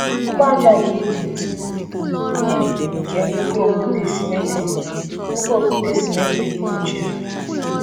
Mkpu aja nke Egypt bụ ili nke nnukwu okwute simmetrik nnukwu okwute simmetrik kpuchiri.